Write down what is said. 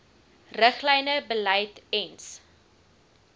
riglyne beleid ens